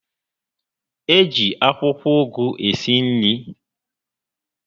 E ji akwụkwọ ụgụ esi nri